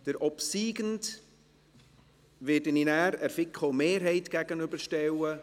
Den obsiegenden werde ich dann dem Antrag der FiKo-Mehrheit gegenüberstellen.